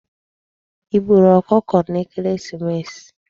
I gbùrù okụkọ n'ekereesimesi?